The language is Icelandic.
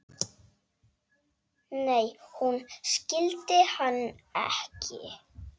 Nei, hún skildi hann ekki.